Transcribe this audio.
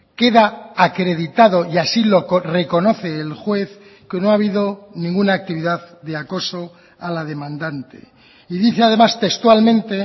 queda acreditado y así lo reconoce el juez que no ha habido ninguna actividad de acoso a la demandante y dice además textualmente